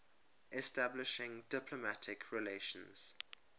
establishing diplomatic relations